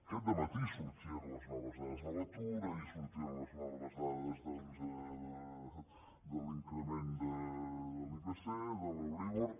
aquest dematí sortien les noves dades de l’atur ahir sortien les noves dades doncs de l’increment de l’ipc de l’euríbor